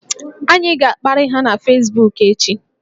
Anyị ga-akparị ha na fesbuku echi